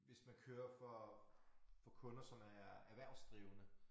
Hvis man kører for for kunder som er erhvervsdrivende